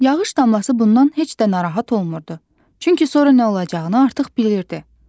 Yağış damlası bundan heç də narahat olmurdu, çünki sonra nə olacağını artıq bilirdi.